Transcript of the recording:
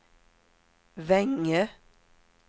Vänge